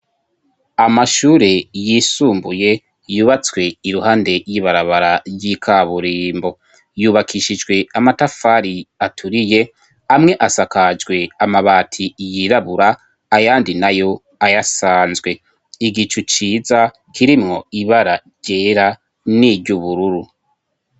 Amashure yisumbuye yubatswe iruhande y'ibarabara ry'ikaburimbo yubakishijwe amatafari aturiye amwe asakajwe amabati yirabura ayandi nayo ayasanzwe igicu ciza kirimwo ibara ryera n'iry'ubururu.